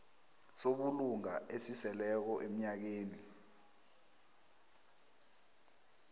sobulunga esiseleko emnyakeni